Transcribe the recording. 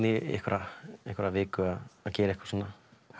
í einhverja einhverja viku að gera eitthvað svona